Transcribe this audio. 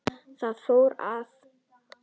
Þar fór það.